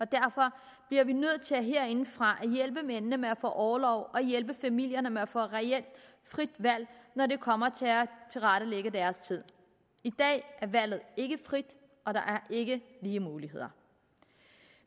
derfor bliver vi nødt til herindefra at hjælpe mændene med at få orlov og hjælpe familierne med at få reelt frit valg når det kommer til at tilrettelægge deres tid i dag er valget ikke frit og der er ikke lige muligheder